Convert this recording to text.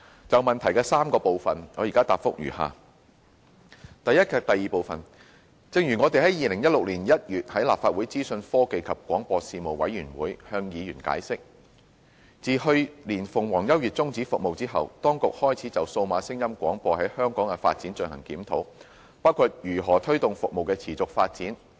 就質詢的3個部分，我現答覆如下：一及二正如我們於2016年1月在立法會資訊科技及廣播事務委員會向議員解釋，自去年鳳凰優悅終止服務後，當局開始就數碼廣播在香港的發展進行檢討，包括如何推動服務的持續發展。